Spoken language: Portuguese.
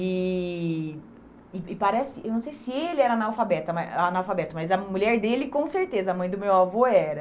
E e e parece... Eu não sei se ele era analfabeta analfabeto, mas a mulher dele, com certeza, a mãe do meu avô era.